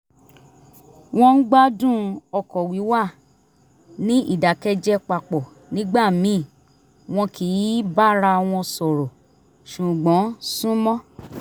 wọ́n ń gbádùn ọkọ̀ wíwà ní ìdákẹ́jẹ́ papọ̀ nígbà míì wọn kì í bára wọn sọ̀rọ̀ ṣùgbọ́n súnmọ́